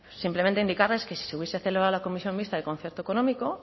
simplemente indicarles que si se hubiese celebrada la comisión mixta de concierto económico